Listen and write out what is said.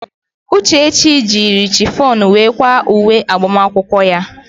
Uchechi jiiri shifọn were kwaa uwe agbamakwụkwọ ya.